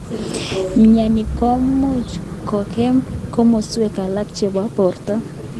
Mnyeni komuch kongem kimoswek alak chebo borto.